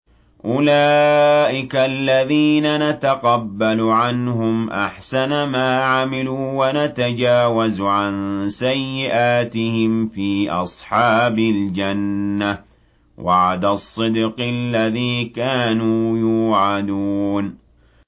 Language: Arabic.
أُولَٰئِكَ الَّذِينَ نَتَقَبَّلُ عَنْهُمْ أَحْسَنَ مَا عَمِلُوا وَنَتَجَاوَزُ عَن سَيِّئَاتِهِمْ فِي أَصْحَابِ الْجَنَّةِ ۖ وَعْدَ الصِّدْقِ الَّذِي كَانُوا يُوعَدُونَ